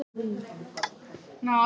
Það var